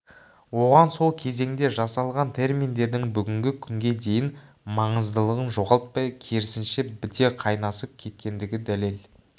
оған сол кезеңде жасалған терминдердің бүгінгі күнге дейін маңыздылығын жоғалтпай керісінше біте қайнасып кеткендігі дәлел